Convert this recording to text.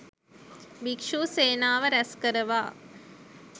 භික්ෂූ සේනාව රැස්කරවා